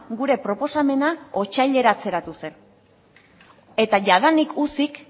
gure proposamena otsaileratzeratu zen eta jadanik ucik